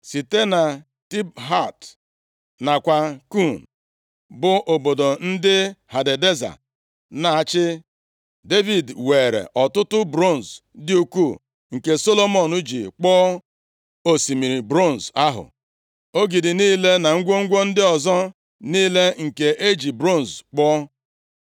Site na Tibhat nakwa Kun, bụ obodo ndị Hadadeza na-achị, Devid weere ọtụtụ bronz dị ukwuu, nke Solomọn ji kpụọ Osimiri bronz ahụ, ogidi niile na ngwongwo ndị ọzọ niile nke e ji bronz kpụọ.